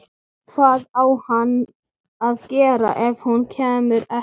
Hvað á hann að gera ef hún kemur ekki?